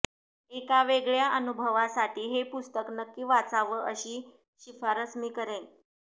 एका वेगळ्या अनुभवासाठी हे पुस्तक नक्की वाचावं अशी शिफारस मी करेन